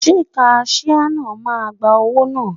Ṣé kaṣíá náà máa gba owó náà?